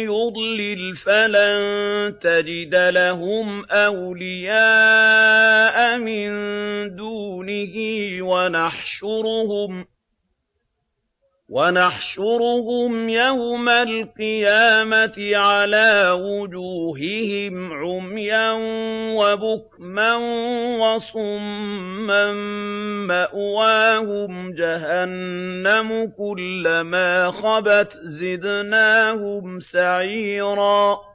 يُضْلِلْ فَلَن تَجِدَ لَهُمْ أَوْلِيَاءَ مِن دُونِهِ ۖ وَنَحْشُرُهُمْ يَوْمَ الْقِيَامَةِ عَلَىٰ وُجُوهِهِمْ عُمْيًا وَبُكْمًا وَصُمًّا ۖ مَّأْوَاهُمْ جَهَنَّمُ ۖ كُلَّمَا خَبَتْ زِدْنَاهُمْ سَعِيرًا